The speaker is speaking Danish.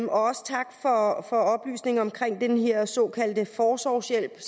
også tak for oplysningen om den her såkaldte forsorgshjælp